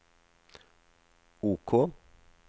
OK